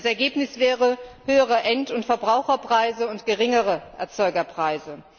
Das Ergebnis wären höhere End und Verbraucherpreise und geringere Erzeugerpreise.